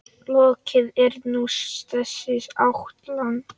Lokið er nú þessi ætlan.